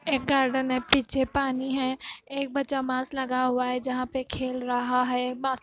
एक गार्डन है पीछे पानी है। एक बच्चा मास्क लगा हुआ है जहां पे खेल रहा है बा--